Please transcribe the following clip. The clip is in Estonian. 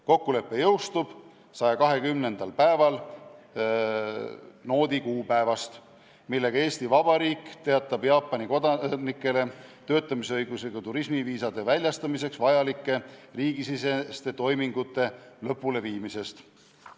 Kokkulepe jõustub 120. päeval noodi kuupäevast, millega Eesti Vabariik teatab Jaapani kodanikele töötamisõigusega turismiviisade väljastamiseks vajalike riigisiseste toimingute lõpuleviimisest.